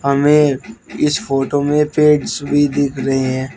हमें इस फोटो में पेड़स भी दिख रहे हैं।